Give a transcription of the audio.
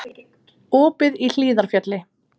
Opið í Hlíðarfjalli